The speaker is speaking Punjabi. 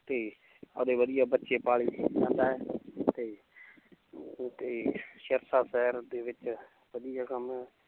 ਤੇ ਆਪਦੇ ਵਧੀਆ ਬੱਚੇ ਪਾਲੀ ਜਾਂਦਾ ਹੈ ਤੇ ਸਿਰਸਾ ਸ਼ਹਿਰ ਦੇ ਵਿੱਚ ਵਧੀਆ ਕੰਮ ਹੈ l